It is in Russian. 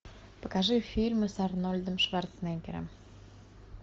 покажи фильмы с арнольдом шварценеггером